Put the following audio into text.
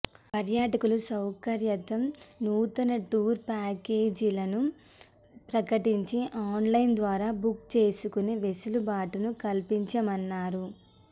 పర్యాటకుల సౌకర్యార్థం నూతన టూర్ ప్యాకేజీలను ప్రకటించి ఆన్లైన్ ద్వారా బుక్ చేసుకునే వెసులుబాటును కల్పించామన్నారు